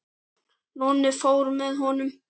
Nonni fór með honum.